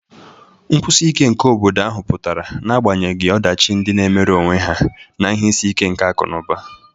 Nkwụsi ike nke obodo ahụ pụtara n'agbanyeghị ọdachi ndị na-emere onwe ha na ihe isi ike akụ̀ na ụba.